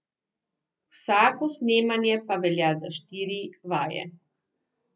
Vsako snemanje pa velja za štiri vaje.